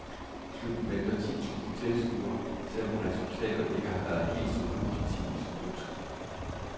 Klubben venter ti tusind tilskuere, selv om resultaterne ikke har været helt så positive som ønsket.